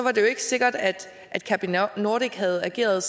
er det jo ikke sikkert at capinordic havde ageret